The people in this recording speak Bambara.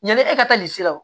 Yanni e ka taa lesiraw